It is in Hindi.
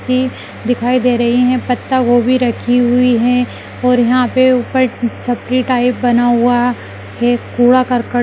दिखाई दे रहे हैं पत्ता गोभी रखी हुई है और यहां पर ऊपर छपरी टाइप बना हुआ है कूड़ा करकट--